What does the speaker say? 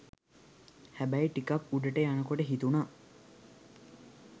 හැබැයි ටිකක් උඩට යනකොට හිතුනා